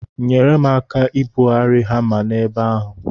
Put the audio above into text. Nyere m aka ibugharị hama n'ebe ahụ.